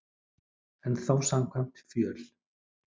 En þó samkvæmt fjöl